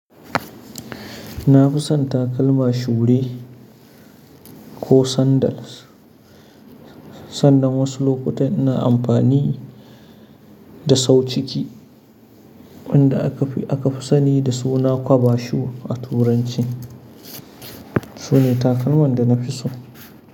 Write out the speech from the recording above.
Na fi son takalma shuɗi ko sandal. Sannan wasu lokuta ina amfani da sauciki wanda aka fi sani da suna cover shoe a turanci. Sune takalman da na fi so.